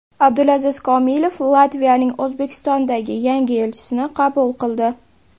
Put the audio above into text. Abdulaziz Komilov Latviyaning O‘zbekistondagi yangi elchisini qabul qildi.